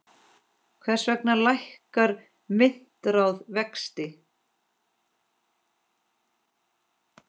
Hvers vegna lækkar myntráð vexti?